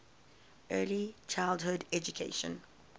early childhood education